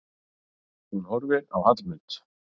Hún horfir á Hallmund.